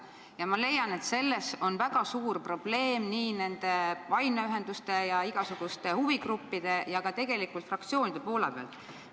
Ja ma leian, et see on väga suur probleem nii nende aineühenduste ja igasuguste huvigruppide kui ka tegelikult fraktsioonide seisukohast vaadatuna.